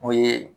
O ye